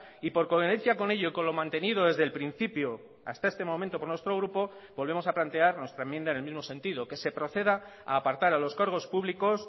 y por coherencia con ello con lo mantenido desde el principio hasta este momento por nuestro grupo volvemos a plantear nuestra enmienda en el mismo sentido que se proceda a apartar a los cargos públicos